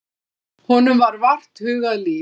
Honum var vart hugað líf.